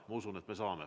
Ma usun, et me saame.